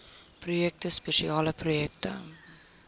projekte spesiale projekte